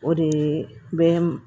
O de ye bɛ